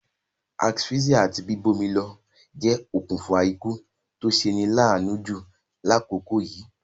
Asphyxia àti bíbómilo je okùnfa ikú to seni laanu ju lákòkò yìí